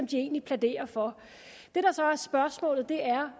de egentlig plæderer for det der så er spørgsmålet er